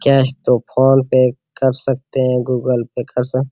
cash तो PhonePe कर सकते है गूगल पे कर सक --